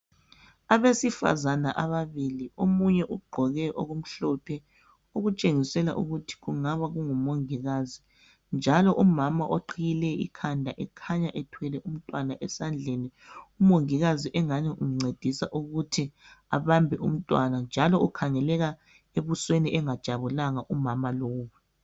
Abesifazana ababili omunye ugqoke okumhlophe okutshengisela ukuthi ngumongikazi njalo umama oqhiye ikhanda ukhanya ethwele umntwana esandleni encediswa ngumongikazi. Umama lo ukhanya engajabulanga.